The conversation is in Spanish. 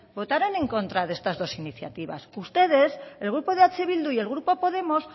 votaron en contra de estas dos iniciativas ustedes el grupo de eh bildu y el grupo podemos